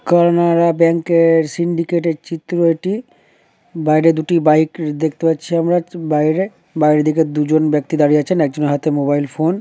কারানা bank -এর Syndicate -এর চিত্র এটি। বাইরে দুটি বাইক দেখতে পাচ্ছি আমরা বাইরে। বাইরের দিকে দুজন ব্যক্তি দাঁড়িয়ে আছেন। একজনের হাতে মোবাইল ফোন--